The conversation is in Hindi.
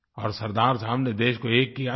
और सरदार साहब ने देश को एक किया था